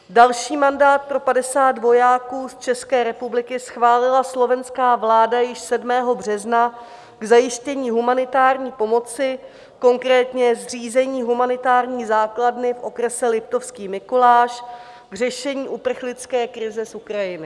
Další mandát pro 50 vojáků z České republiky schválila slovenská vláda již 7. března k zajištění humanitární pomoci, konkrétně zřízení humanitární základny v okrese Liptovský Mikuláš k řešení uprchlické krize z Ukrajiny.